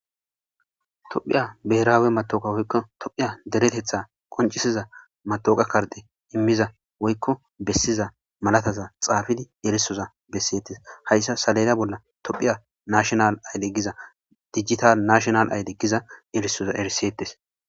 Tophiya beraawe matooka woykko tophiya deretetha qoncisiza matoqa karde immiza woykko bessiza malataza xaafidi erisoza bessetes hayssa salela bolla tophiya nashonal ayle giza digital nashonal ayle giza erisoza erisetes